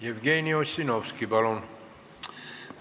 Jevgeni Ossinovski, palun!